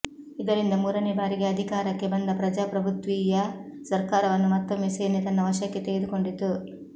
ಇದರಿಂದ ಮೂರನೇ ಬಾರಿಗೆ ಅಧಿಕಾರಕ್ಕೆ ಬಂದ ಪ್ರಜಾಪ್ರಭುತ್ವೀಯ ಸರ್ಕಾರವನ್ನು ಮತ್ತೊಮ್ಮೆ ಸೇನೆ ತನ್ನ ವಶಕ್ಕೆ ತೆಗೆದುಕೊಂಡಿತು